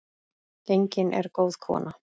Gengin er góð kona.